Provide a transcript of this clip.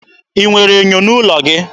Ị nwere ènyò n'ụlọ gị?